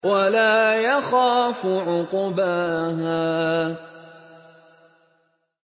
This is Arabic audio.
وَلَا يَخَافُ عُقْبَاهَا